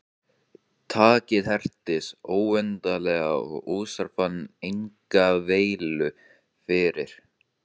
Takið hertist óendanlega og Össur fann enga veilu fyrir.